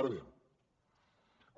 ara bé